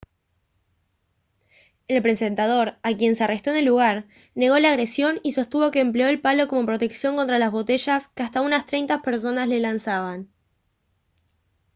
el presentador a quien se arrestó en el lugar negó la agresión y sostuvo que empleó el palo como protección contra las botellas que hasta unas treinta personas le lanzaban